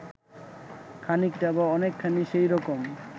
খানিকটা বা অনেকখানি সেই রকম